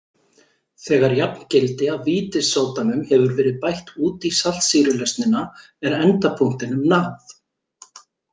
Þegar jafngildi af vítissódanum hefur verið bætt út í saltsýrulausnina er endapunktinum náð.